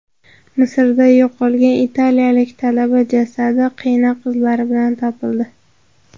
Misrda yo‘qolgan italiyalik talaba jasadi qiynoq izlari bilan topildi.